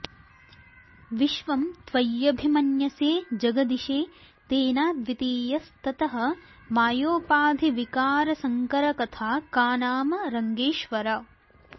विश्वं त्वय्यभिमन्यसे जगदिषे तेनाद्वितीयस्ततः मायोपाधिविकारसङ्करकथा का नाम रङ्गेश्वर